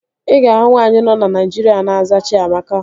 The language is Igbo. Ị ga-ahụ nwaanyị nọ na Naịjirịa na-aza Chiamaka